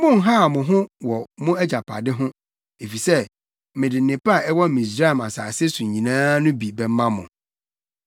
Monnhaw mo ho wɔ mo agyapade ho, efisɛ mede nnepa a ɛwɔ Misraim asase so nyinaa no bi bɛma mo.’ ”